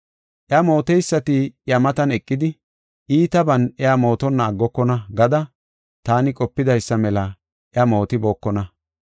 Iya mooteysati iya matan eqidi, iitaban iya mootonna aggokona gada taani qopidaysa mela iya mootibookona.